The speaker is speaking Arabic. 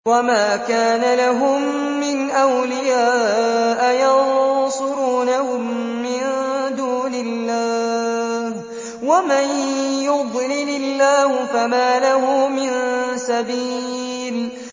وَمَا كَانَ لَهُم مِّنْ أَوْلِيَاءَ يَنصُرُونَهُم مِّن دُونِ اللَّهِ ۗ وَمَن يُضْلِلِ اللَّهُ فَمَا لَهُ مِن سَبِيلٍ